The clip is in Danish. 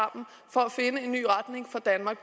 for at finde en ny retning for danmark